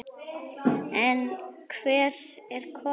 En hver er konan?